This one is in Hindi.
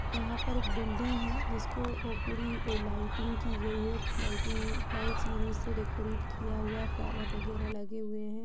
यहाँ पर एक बिल्डिंग है जिसको पूरी लाइटिंग की गयी है| लाइटिंग लाइट सीरीज से डेकोरेट किया हुआ है फ्लावर वगैरह लगे हुए हैं।